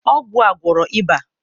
ọgwụ a gwọrọ ịba?